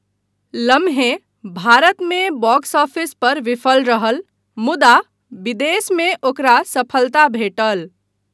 लम्हे भारतमे box office पर विफल रहल मुदा विदेशमे ओकरा सफलता भेटल।